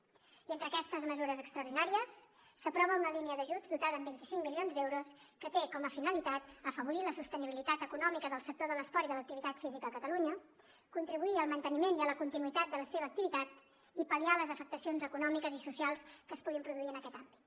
i entre aquestes mesures extraordinàries s’aprova una línia d’ajuts dotada amb vint cinc milions d’euros que té com a finalitat afavorir la sostenibilitat econòmica del sector de l’esport i de l’activitat física a catalunya contribuir al manteniment i a la continuïtat de la seva activitat i pal·liar les afectacions econòmiques i socials que es puguin produir en aquest àmbit